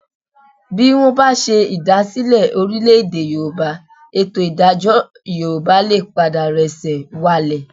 Bí wọ́n bá ṣe ìdásílẹ̀ Orílè-èdè Yorùbá, ètò ìdájọ́ Yorùbá lè padà rẹ́sẹ̀ walẹ̀